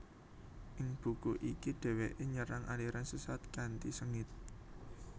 Ing buku iki dheweke nyerang aliran sesat kanthi sengit